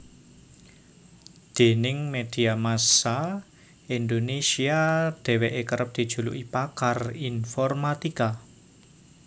Déning media massa Indonesia dheweke kerep dijuluki pakar informatika